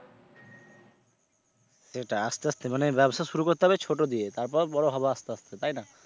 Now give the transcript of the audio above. সেটাই আস্তে আস্তে মানে ব্যবসা শুরু করতে হবে ছোট দিয়ে তারপর বড় হবে আস্তে আস্তে তাই না?